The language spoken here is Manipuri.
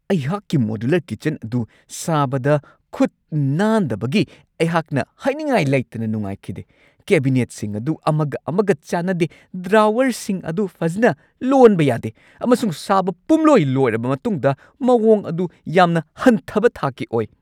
ꯑꯩꯍꯥꯛꯀꯤ ꯃꯣꯗꯨꯂꯔ ꯀꯤꯆꯟ ꯑꯗꯨ ꯁꯥꯕꯗ ꯈꯨꯠ ꯅꯥꯟꯗꯕꯒꯤ ꯑꯩꯍꯥꯛꯅ ꯍꯥꯏꯅꯤꯡꯉꯥꯏ ꯂꯩꯇꯅ ꯅꯨꯡꯉꯥꯢꯈꯤꯗꯦ ꯫ ꯀꯦꯕꯤꯅꯦꯠꯁꯤꯡ ꯑꯗꯨ ꯑꯃꯒ ꯑꯃꯒ ꯆꯥꯟꯅꯗꯦ, ꯗ꯭ꯔꯥꯋꯔꯁꯤꯡ ꯑꯗꯨ ꯐꯖꯅ ꯂꯣꯟꯕ ꯌꯥꯗꯦ, ꯑꯃꯁꯨꯡ ꯁꯥꯕ ꯄꯨꯝꯂꯣꯏ ꯂꯣꯏꯔꯕ ꯃꯇꯨꯡꯗ ꯃꯋꯣꯡ ꯑꯗꯨ ꯌꯥꯝꯅ ꯍꯟꯊꯕ ꯊꯥꯛꯀꯤ ꯑꯣꯏ ꯫